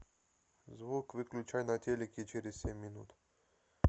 звук выключай на телике через семь минут